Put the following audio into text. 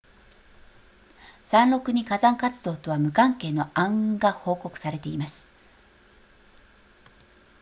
山麓に火山活動とは無関係の暗雲が報告されています